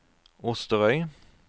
Osterøy